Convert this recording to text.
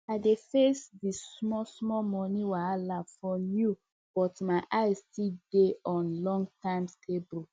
i dey face the smallsmall money wahala for now but my eyes still dey on longterm stability